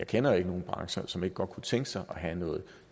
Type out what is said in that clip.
kender nogen brancher som ikke godt kunne tænke sig at have noget